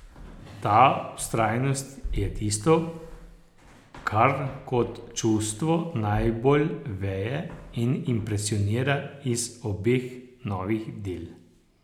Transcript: Ta vztrajnost je tisto, kar kot čustvo najbolj veje in impresionira iz obeh novih del.